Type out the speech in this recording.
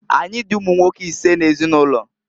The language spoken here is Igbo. Anyị dị ụmụnwoke isee n'ezinụlọ.